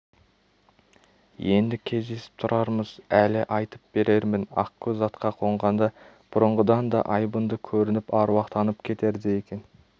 енді кездесіп тұрармыз әлі айтып берермін ақкөз атқа қонғанда бұрынғыдан да айбынды көрініп аруақтанып кетердей екен